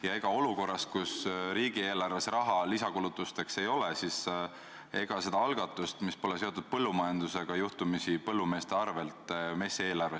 Ja ega olukorras, kus riigieelarves raha lisakulutusteks ei ole, ei plaanita seda algatust, mis pole seotud põllumajandusega, teha juhtumisi põllumeeste arvel?